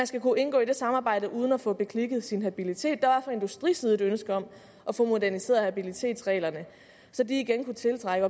skal kunne indgå i det samarbejde uden at få beklikket sin habilitet der var fra industriside et ønske om at få moderniseret habilitetsreglerne så de igen kunne tiltrække